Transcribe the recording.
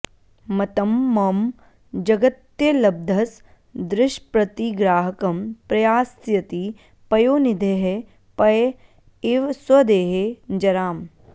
मतं मम जगत्यलब्धसदृशप्रतिग्राहकं प्रयास्यति पयोनिधेः पय इव स्वदेहे जराम्